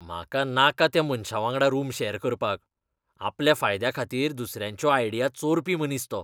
म्हाका नाका त्या मनशावांगडा रूम शॅर करपाक. आपल्या फायद्याखातीर दुसऱ्यांच्यो आयडिया चोरपी मनीस तो.